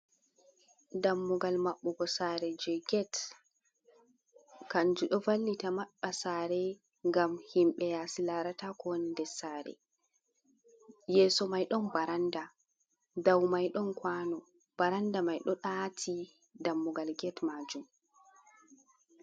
Dammugal maɓɓugo sare je get, kanju ɗo vallita maɓɓa sare ngam himɓe yasi larata kowoni ndessare, yeso maiɗon baranda, dow mai ɗon kwano, baranda mai ɗo ati dammugal get majum.